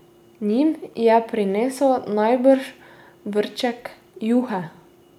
Njim je prinesel najbrž vrček juhe.